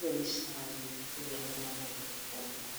ĩyo nĩ caĩni ĩrĩa yonanagia ũguo.